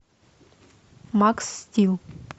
макс стил